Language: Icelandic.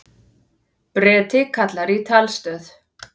Breti kallar í talstöð.